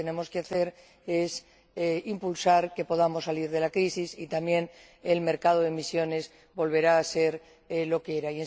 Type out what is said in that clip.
Lo que tenemos que hacer es impulsarlo para que podamos salir de la crisis y así el mercado de emisiones volverá a ser lo que era.